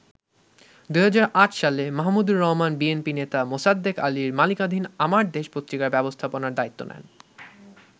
২০০৮ সালে মাহমুদুর রহমান বিএনপি নেতা মোসাদ্দেক আলীর মালিকানাধীন আমার দেশ পত্রিকার ব্যবস্থাপনার দায়িত্ব নেন।